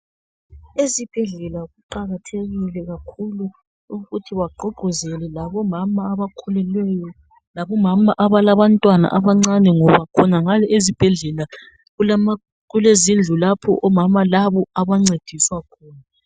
Ezibhedlela kuqakathekile kakhulu ukuthi bagqugquzele labomama abakhulileyo labomama abalabantwanna abancane ngoba khonangale ezibhedlela okulezindlu lapho omama labo abancediswa khona.